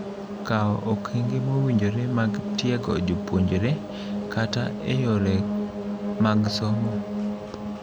Kawo okenge mowinjore mag tiego jopuonjre kata eyore mag somo.